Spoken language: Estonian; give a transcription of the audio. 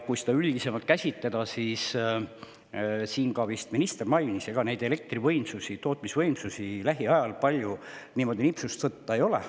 Kui seda üldisemalt käsitleda, siis on nii, nagu ka minister vist mainis, et ega meil neid elektrivõimsusi, tootmisvõimsusi lähiajal palju niimoodi nipsust võtta ei ole.